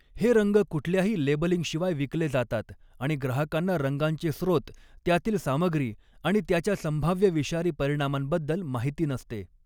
हे रंग कुठल्याही लेबलिंगशिवाय विकले जातात आणि ग्राहकांना रंगांचे स्रोत, त्यातील सामग्री आणि त्याच्या संभाव्य विषारी परिणामांबद्दल माहिती नसते.